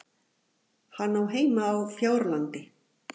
Hann á heima á Fjárlandi.